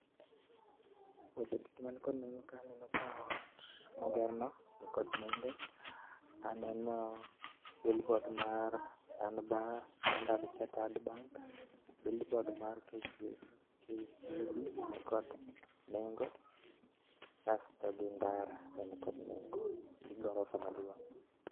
Weche duto man kod nengo kae aneno ka ot moger no nikod nengo, aneno billboard mar stanbank, Standard Chartered bank, billboard mar KCB nikod nengo asto gi ndara be nikod nengo gi gorofa maduong